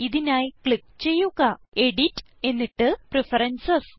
ഇതിനായി ക്ലിക്ക് ചെയ്യുക എഡിറ്റ് എന്നിട്ട് പ്രഫറൻസസ്